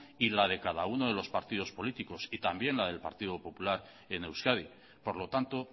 y la de cada uno de los partidos políticos y también la del partido popular en euskadi por lo tanto